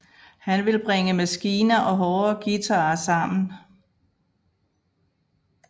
Han vil bringe maskiner og hårde guitarer sammen